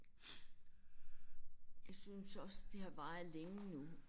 Jeg synes også det har varet længe nu